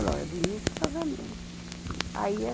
Olha, eu vi muitos casamento. aí